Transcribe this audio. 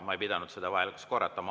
Ma ei pidanud vajalikuks seda korrata.